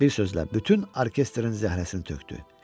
Bir sözlə, bütün orkestrin zəhrəsini tökdü.